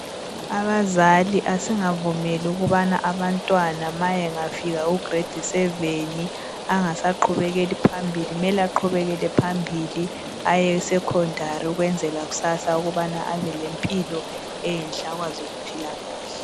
Abazali asingavumeli ukubana abantwana ma engafika ku"grade7" angasaqhubekeli phambili, mele aqhubekele phambili aye"secondary " ukwenzela kusasa ukubana abe lempilo enhle akwazi ukuphila kahle.